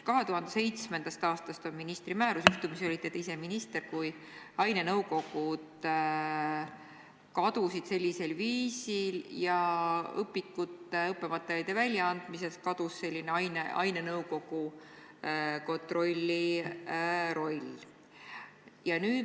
2007. aastast on ministri määrus – juhtumisi olite ise siis minister –, millega ainenõukogud sellisel viisil kadusid ning õpikute ja õppematerjali väljaandmise üle ainenõukogu kontroll kadus.